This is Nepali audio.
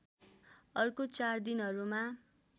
अर्को चार दिनहरूमा